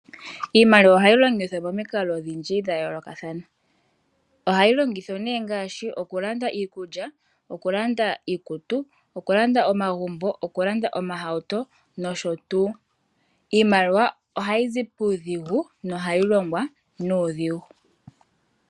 Iimaliwa ohayi longithwa pamikalo odhindji dhayoolokathana. Ohayi longithwa nee ngaashi okulanda iikulya, okulanda iikutu, okulanda iihawuto, okulanda omagumbo nosho tuu. Iimaliwa ohayizi puudhigu nohayi longwa nuudhigu.